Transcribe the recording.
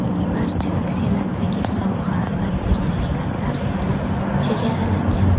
Barcha aksiyalardagi sovg‘a va sertifikatlar soni chegaralangan.